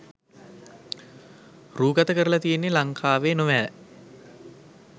රූගත කරලා තියෙන්නේ ලංකාවේ නොවෑ?